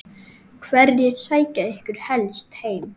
Hverjir sækja ykkur helst heim?